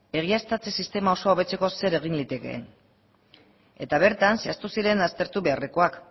egiaztatze sistema osoa hobetzeko zer egin liteke eta bertan zehaztu ziren aztertu beharrekoak